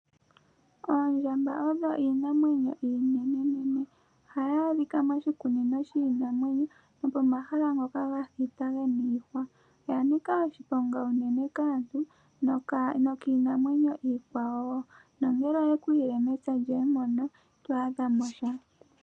Oondjamba odho iinamwenyo iinene nohadhi adhika moshikunino shiinamwenyo. Oya niika oshiponga kaantu nokiinamwenyo iikwawo, oshoka ngele oye kuyile mepya lyoye ita yi thigimo sha.